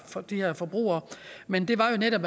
de her forbrugere men det var jo netop